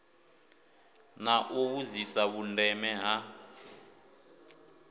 na u vhudzisa vhundeme ha